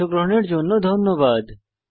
অংশগ্রহনের জন্য ধন্যবাদ